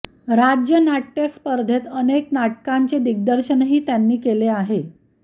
राज्यनाटय़ स्पर्धेत अनेक नाटकांचे दिग्दर्शनही त्यांनी केले आहे